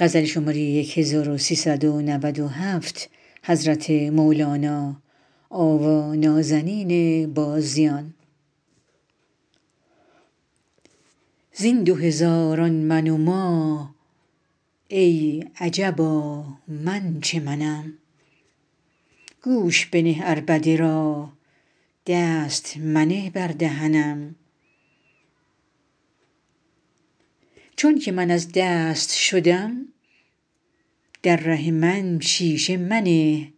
زین دو هزاران من و ما ای عجبا من چه منم گوش بنه عربده را دست منه بر دهنم چونک من از دست شدم در ره من شیشه منه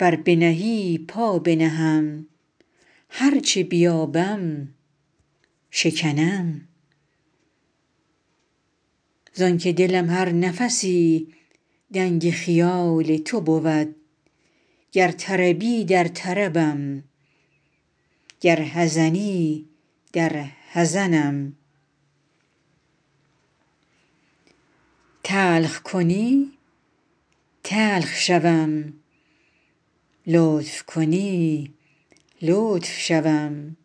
ور بنهی پا بنهم هر چه بیابم شکنم زانک دلم هر نفسی دنگ خیال تو بود گر طربی در طربم گر حزنی در حزنم تلخ کنی تلخ شوم لطف کنی لطف شوم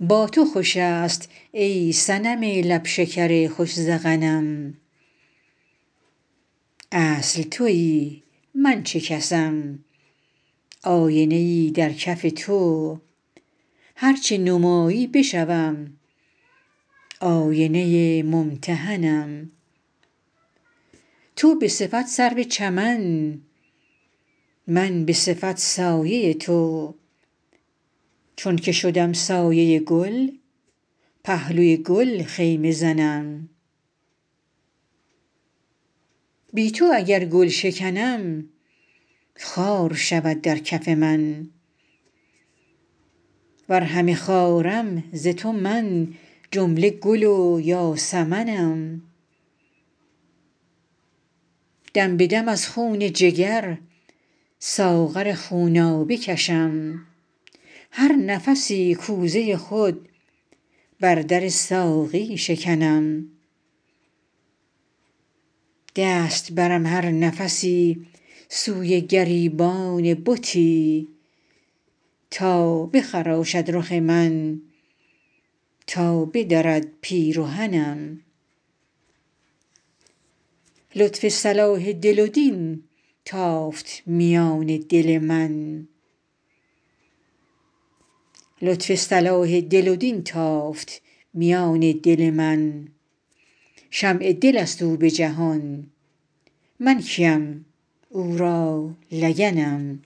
با تو خوش است ای صنم لب شکر خوش ذقنم اصل توی من چه کسم آینه ای در کف تو هر چه نمایی بشوم آینه ممتحنم تو به صفت سرو چمن من به صفت سایه تو چونک شدم سایه گل پهلوی گل خیمه زنم بی تو اگر گل شکنم خار شود در کف من ور همه خارم ز تو من جمله گل و یاسمنم دم به دم از خون جگر ساغر خونابه کشم هر نفسی کوزه خود بر در ساقی شکنم دست برم هر نفسی سوی گریبان بتی تا بخراشد رخ من تا بدرد پیرهنم لطف صلاح دل و دین تافت میان دل من شمع دل است او به جهان من کیم او را لگنم